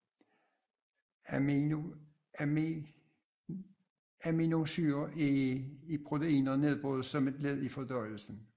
Aminosyrer i proteiner nedbrydes som et led i fordøjelsen